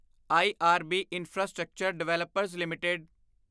IRB infrastructure developers LTD